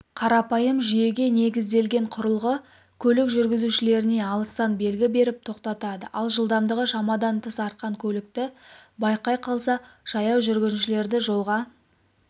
қарапайым жүйеге негізделген құрылғы көлік жүргізушілеріне алыстан белгі беріп тоқтатады ал жылдамдығы шамадан тыс артқан көлікті байқай қалса жаяу жүргіншілерді жолға